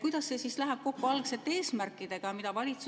Kuidas see läheb kokku algsete eesmärkidega?